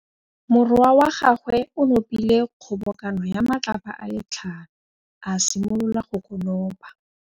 Morwa wa gagwe o nopile kgobokanô ya matlapa a le tlhano, a simolola go konopa.